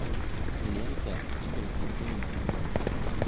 лента игры джентльменов